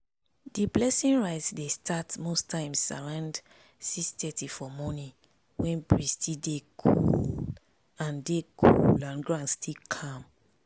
the blessing rite dey start most times around 6:30 for morning when breeze still dey cool and dey cool and ground still calm.